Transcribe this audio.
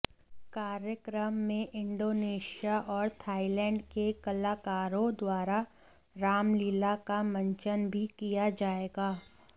कार्यक्रम में इण्डोनेशिया और थाईलैण्ड के कलाकारों द्वारा रामलीला का मंचन भी किया जाएगा